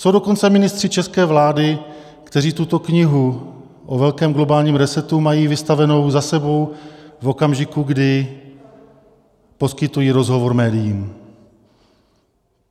Jsou dokonce ministři české vlády, kteří tuto knihu o velkém globálním resetu mají vystavenou za sebou v okamžiku, kdy poskytují rozhovor médiím.